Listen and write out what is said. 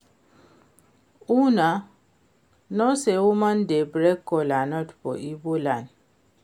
Una no say woman no dey break kola nut for Igbo land